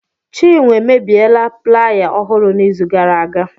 Chinwe emebiela plaaya ọhụrụ n'izu gara aga.